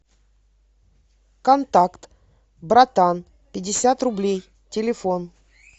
контакт братан пятьдесят рублей телефон